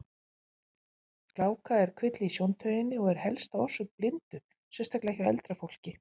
Gláka er kvilli í sjóntauginni og er helsta orsök blindu, sérstaklega hjá eldra fólki.